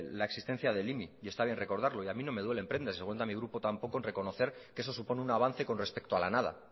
la existencia del imi y está bien recordarlo y a mí no me duelen prendas seguramente a mi grupo tampoco en reconocer que eso supone un avance con respecto a la nada